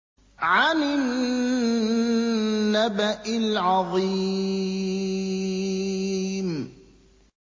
عَنِ النَّبَإِ الْعَظِيمِ